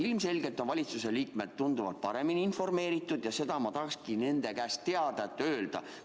Ilmselgelt on valitsuse liikmed tunduvalt paremini informeeritud ja seda infot ma tahakski nende käest teada saada.